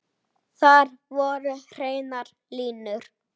Til í aðra ferð.